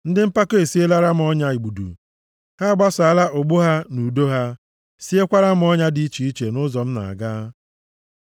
Ndị mpako esielera m ọnya igbudu; ha agbasaala ụgbụ ha na udo ha, siekwara m ọnya dị iche iche nʼụzọ m na-aga. Sela